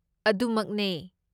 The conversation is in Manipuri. ꯑꯗꯨ ꯃꯛꯅꯦ!